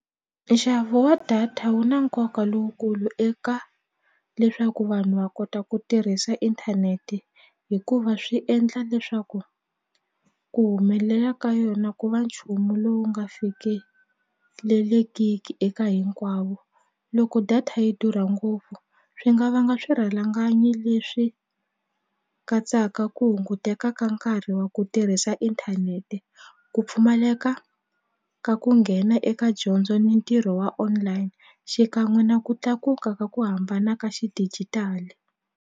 Nxavo wa data wu na nkoka lowukulu eka leswaku vanhu va kota ku tirhisa inthanete hikuva swi endla leswaku ku humelela ka yona ku va nchumu lowu nga fikelelekiki eka hinkwavo loko data yi durha ngopfu swi nga vanga swirhalanganyi leswi katsaka ku hunguteka ka nkarhi wa ku ti tirhisa inthanete ku pfumaleka ka ku nghena eka dyondzo ni ntirho wa online xikan'we na ku tlakuka ka ku hambana ka xidijitali.